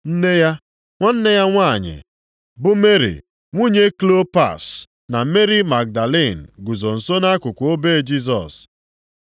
Nne ya, nwanne ya nwanyị, bụ Meri nwunye Klopas, na Meri Magdalin guzo nso nʼakụkụ obe Jisọs.